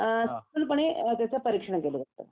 हं पूर्णपणे त्याचं परीक्षण केलं होतं